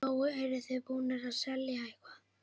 Lóa: Eruð þið búnir að selja eitthvað?